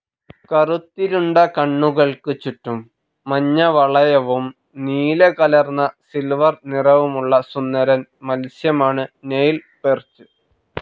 കറുത്തിരുണ്ട കണ്ണുകൾക്ക് ചുറ്റും മഞ്ഞവളയവും നീലകലർന്ന സിൽവർ നിറവുമുള്ള സുന്ദരൻ മത്സ്യമാണ് നൈൽ പെർച്ച്.